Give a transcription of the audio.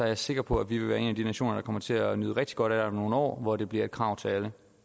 jeg sikker på at vi vil være en af de nationer der kommer til at nyde rigtig godt af det om nogle år når det bliver et krav til alle